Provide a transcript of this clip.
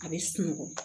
A bɛ sunɔgɔ